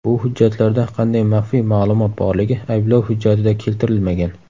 Bu hujjatlarda qanday maxfiy ma’lumot borligi ayblov hujjatida keltirilmagan.